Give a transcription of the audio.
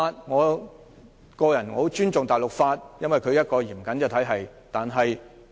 我個人很尊重大陸法，因為這是一個嚴謹的體系。